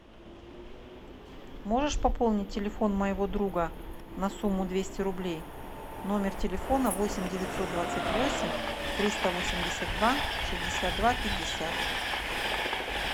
можешь пополнить телефон моего друга на сумму двести рублей номер телефона восемь девятьсот двадцать восемь триста восемьдесят два шестьдесят два пятьдесят